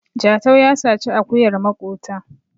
Jatau ya saci akuyar makota